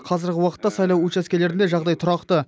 қазіргі уақытта сайлау учаскелерінде жағдай тұрақты